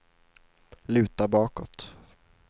luta bakåt